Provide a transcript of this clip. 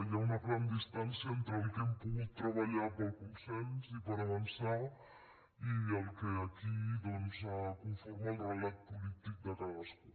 hi ha una gran distància entre el que hem pogut treballar per al consens i per avançar i el que aquí doncs conforma el relat polític de cadascú